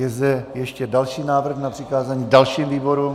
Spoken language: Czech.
Je zde ještě další návrh na přikázání dalším výborům?